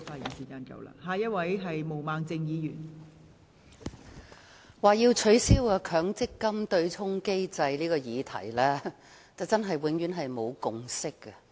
代理主席，就取消強制性公積金對沖機制這個議題，真是永遠沒有共識。